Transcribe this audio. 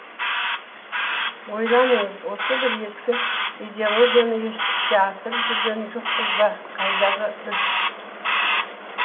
ойланыңыз осы бір ескі идеологияны іске асырып жүрген жоқпыз ба қайдағы біз